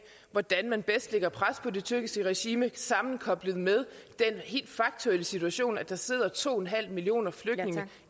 hvordan man bedst lægger pres på det tyrkiske regime sammenkoblet med den helt faktuelle situation at der sidder to millioner flygtninge